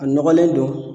A nɔgɔlen don